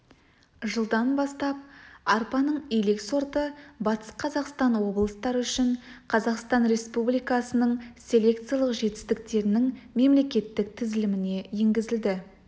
жылдан бастап арпаның илек сорты батыс қазақстан облыстары үшін қазақстан республикасының селекциялық жетістіктерінің мемлекеттік тізіліміне енгізілді